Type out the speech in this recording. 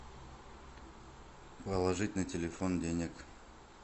положить на телефон денег